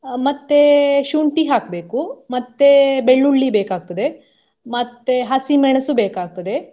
ಅಹ್ ಮತ್ತೆ ಶುಂಠಿ ಹಾಕ್ಬೇಕು ಮತ್ತೆ ಬೆಳ್ಳುಳ್ಳಿ ಬೇಕಾಗ್ತದೆ ಮತ್ತೆ ಹಸಿಮೆಣಸು ಬೇಕಾಗ್ತದೆ.